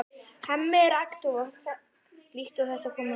Hemmi er agndofa líkt og þetta komi honum á óvart.